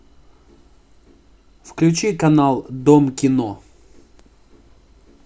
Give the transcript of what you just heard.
включи канал дом кино